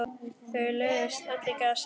Þau lögðust öll í grasið.